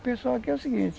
O pessoal aqui é o seguinte...